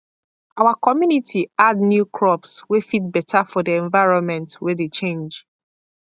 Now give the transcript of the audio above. our community add new crops wey fit better for the environment wey dey change